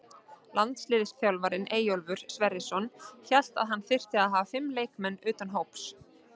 Landsliðsþjálfarinn Eyjólfur Sverrisson hélt þá að hann þyrfti að hafa fimm leikmenn utan hóps.